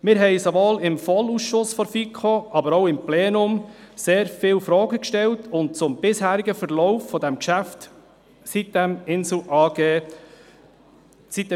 Wir stellten sowohl im VOL-Ausschuss der FiKo als auch im Plenum sehr viele Fragen zum bisherigen Verlauf des Geschäfts sitem-Insel AG.